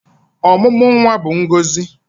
Ọmụmụ nwa bụ ngọzị